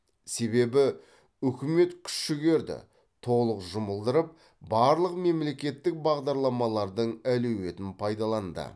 себебі үкіметкүш жігерді толық жұмылдырып барлық мемлекеттік бағдарламалардың әлеуетін пайдаланды